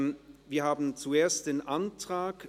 Wir haben zuerst den Antrag